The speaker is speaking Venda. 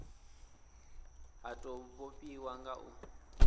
ha tou vhofhiwa nga u